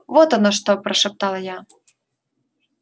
вот оно что прошептал я